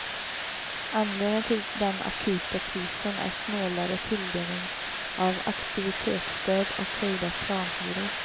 Anledningen till den akuta krisen är snålare tilldelning av aktivitetsstöd och höjda planhyror.